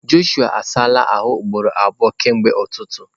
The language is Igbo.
Jọshụa asala ahụ ugboro abụọ kemgbe ụtụtụ.